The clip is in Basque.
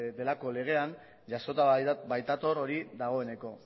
delako legean jasota baitator hori dagoeneko